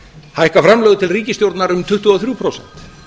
hækka framlög til ríkisstjórnar um tuttugu og þrjú prósent